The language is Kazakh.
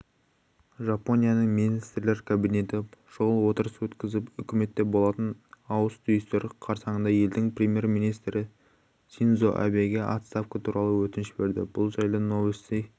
жапонияның министрлер кабинеті шұғыл отырыс өткізіп үкіметте болатын ауыс-түйістер қарсаңында елдің премьер-министрі синдзо абэге отставка туралы өтініш берді бұл жайлы новости